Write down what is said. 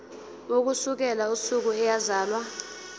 ukusukela usuku eyazalwa